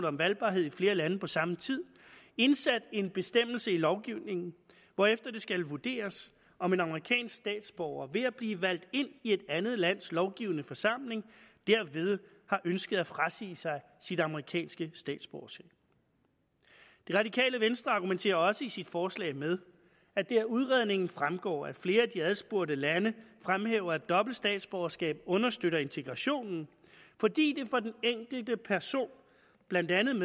om valgbarhed i flere lande på samme tid indsat en bestemmelse i lovgivningen hvorefter det skal vurderes om en amerikansk statsborger ved at blive valgt ind i et andet lands lovgivende forsamling derved har ønsket at frasige sig sit amerikanske statsborgerskab det radikale venstre argumenterer også i sit forslag med at det af udredningen fremgår at flere af de adspurgte lande fremhæver at dobbelt statsborgerskab understøtter integrationen fordi det for den enkelte person blandt andet